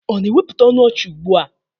Ọ na-ewepụta ọnụ ọchị ugbua?